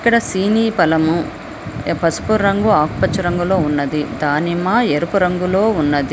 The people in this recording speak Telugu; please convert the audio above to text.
ఇక్కడ సీనీ పలము పసుపు రంగు ఆకుపచ్చ రంగులో ఉన్నది. దానిమ్మ ఎరుపు రంగులో ఉన్నది.